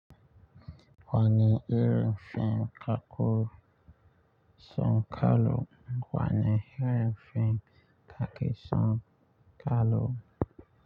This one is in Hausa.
Wanne irin fim kake son kallo? Wani irin fim kake son kallo?